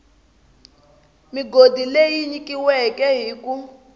migodi leyi nyikiweke hi ku